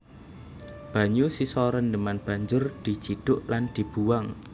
Banyu sisa rendheman banjur dicidhuk lan dibuwang